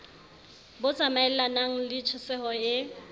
bo tsamaelanang le tjhesehelo e